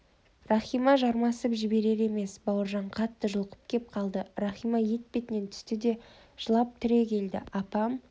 рахима жармасып жіберер емес бауыржан қатты жұлқып кеп қалды рахима етпетінен түсті де жылап түрегелді апам